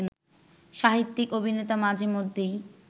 সাহিত্যিক, অভিনেতা মাঝেমধ্যেই